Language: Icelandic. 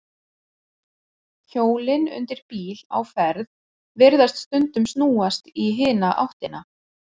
Hjólin undir bíl á ferð virðast stundum snúast í hina áttina.